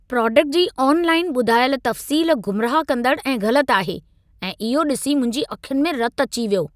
Product जी online ॿुधायल तफ़्सील गुमराह कंदड़ ऐं ग़लति आहे ऐं इहो ॾिसी मुंहिंजी अखियुनि में रतु अची वयो।